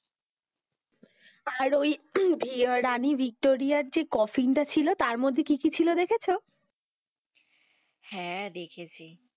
আর ওই রানী ভিক্টোরিয়ার যে coffin টা ছিল তার মধ্যে কি কি ছিল দেখেছো? হেঁ, দেখেছি,